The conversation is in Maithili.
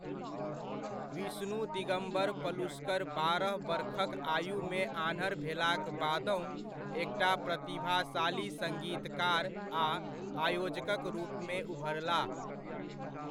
विष्णु दिगम्बर पलुस्कर बारह बरखक आयुमे आन्हर भेलाक बादहुँ एकटा प्रतिभाशाली सङ्गीतकार आ आयोजकक रूपमे उभरलाह।